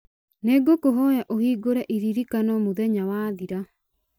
nĩ ngũkũhoya ũhingũre iririkano mũthenya wathira